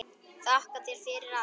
Þakka þér fyrir allt.